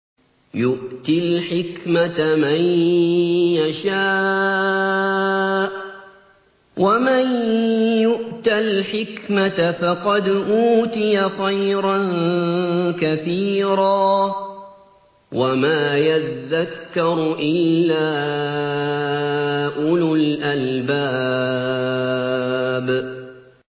يُؤْتِي الْحِكْمَةَ مَن يَشَاءُ ۚ وَمَن يُؤْتَ الْحِكْمَةَ فَقَدْ أُوتِيَ خَيْرًا كَثِيرًا ۗ وَمَا يَذَّكَّرُ إِلَّا أُولُو الْأَلْبَابِ